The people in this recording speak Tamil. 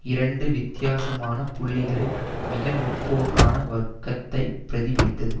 இரண்டு வித்தியாசமான புள்ளிகளில் மிக முற்போக்கான வர்க்கத்தை பிரதிபலித்தது